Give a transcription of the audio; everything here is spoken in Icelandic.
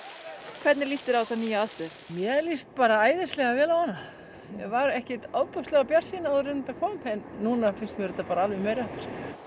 hvernig líst þér á þessa nýju aðstöðu mér líst æðislega vel á hana ég var ekki mjög bjartsýn áður en þetta kom en núna finnst mér þetta alveg meiri háttar ég